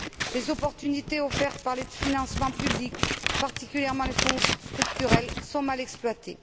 Les opportunités offertes par les financements publics, particulièrement les Fonds structurels, sont mal exploitées.